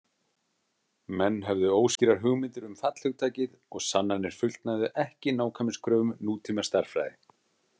Menn höfðu óskýrar hugmyndir um fallhugtakið og sannanir fullnægðu ekki nákvæmniskröfum nútímastærðfræði.